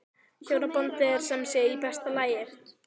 Hjónabandið er sem sé í besta lagi?